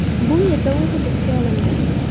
Bu yerda u hibsga olindi.